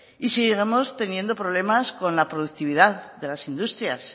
y seguimos teniendo problemas con la productividad de las industrias